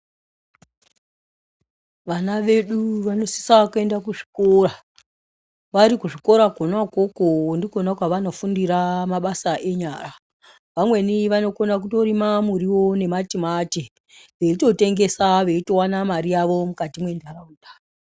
Vana vedu vanosisa kuenda kuzvikora. Vari kuzvikora kwona ikwokwo ndikona kwavanofundira mabasa enyara. Vamweni vanokona kutorima muriwo nematimati veitotengesa veitowana mari yavo mukati mwenharaunda.